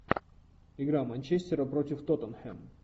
игра манчестера против тоттенхэм